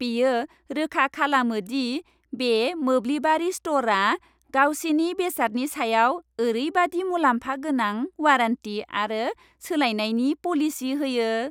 बेयो रोखा खालामो दि बे मोब्लिबारि स्ट'रआ गावसिनि बेसादनि सायाव ओरैबादि मुलाम्फा गोनां वारेन्टी आरो सोलायनायनि पलिसि होयो।